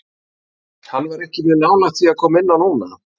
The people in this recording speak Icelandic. Hann var ekki mjög nálægt því að koma inn á núna.